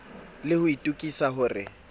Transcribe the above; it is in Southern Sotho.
le ho itokisa ho re